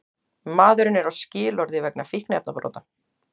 Maðurinn er á skilorði vegna fíkniefnabrota